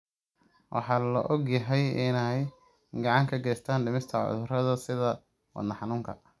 waxaa la og yahay in ay gacan ka geysato dhimista cudurrada sida wadne xanuunka.